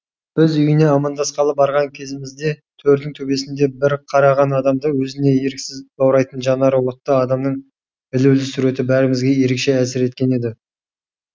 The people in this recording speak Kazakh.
біз үйіне амандасқалы барған кезімізде төрдің төбесінде бір қараған адамды өзіне еріксіз баурайтын жанары отты адамның ілулі суреті бәрімізге ерекше әсер еткен еді